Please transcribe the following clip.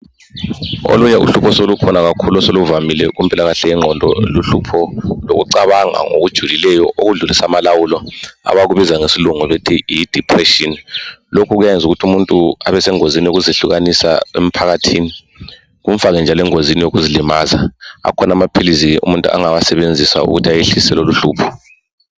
Olunye uhlupho oselukhona kakhulu oseluvamile kumpilakahle yemgqondo luhlupho lokucabanga ngokujulileyo okudlulisa amalawulo, abakubiza ngesilungu bethi yi depression. Lokhu kuyayenza ukuthi umuntu abesengozini yokuzehlukanisa emphakathini, kumfake njalo engozini yokuzilimaza. Akhona amaphilisi umuntu angawasebenzisa ukuthi ayehlise loluhlupho.